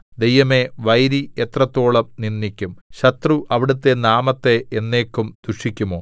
ദൈവമേ വൈരി എത്രത്തോളം നിന്ദിക്കും ശത്രു അവിടുത്തെ നാമത്തെ എന്നേക്കും ദുഷിക്കുമോ